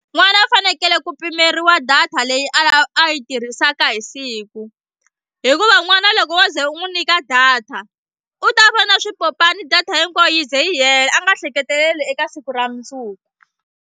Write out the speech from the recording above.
N'wana a fanekele ku pimeriwa data leyi a a yi tirhisaka hi siku hikuva n'wana loko wo ze u n'wi nyika data u ta vona swipopani data hinkwayo yi ze yi hela a nga hleketeleli eka siku ra mundzuku.